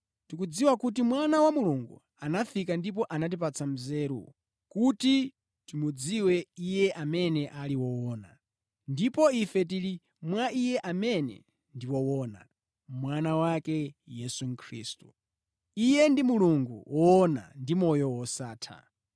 Tikudziwa kuti Mwana wa Mulungu anafika ndipo anatipatsa nzeru, kuti timudziwe Iye amene ali woona. Ndipo ife tili mwa Iye amene ndi woona, Mwana wake, Yesu Khristu. Iye ndi Mulungu woona ndi moyo wosatha.